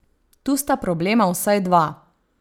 Tu sta problema vsaj dva.